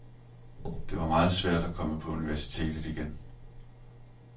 Det var meget svært at komme på universitetet igen.